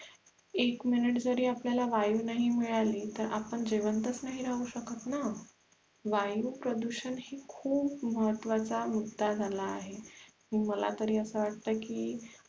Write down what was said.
एक MINUTE जरी वायु नाही मिळाली तर आपण जिवंतच नाही राहू शकत ना वायु प्रदूषण हे खूप महत्वाचा मुद्दा झाला आहे मला तरी अस वाटते की